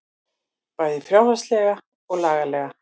Bæði fjárhagslega og lagalega